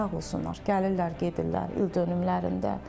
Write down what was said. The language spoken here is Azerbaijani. Sağ olsunlar, gəlirlər, gedirlər ildönümlərində.